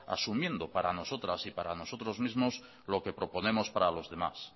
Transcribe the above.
asumiendo para nosotras y para nosotros mismos lo que proponemos para los demás